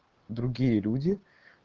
другие люди